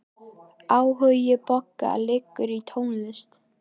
Áhugi Boga liggur í tónlist.